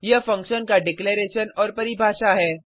यह फंक्शन का डिक्लेरैशन और परिभाषा है